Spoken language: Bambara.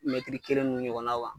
Mɛtiri kelen nunnu ɲɔgɔnna kan